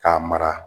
K'a mara